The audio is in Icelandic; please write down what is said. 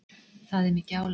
Það er mikið álag.